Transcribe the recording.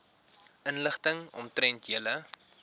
inligting omtrent julle